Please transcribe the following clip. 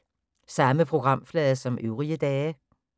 Samme programflade som øvrige dage